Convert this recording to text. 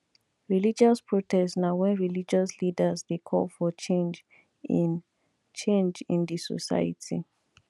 religious protest na when religious leaders de call for change in change in di society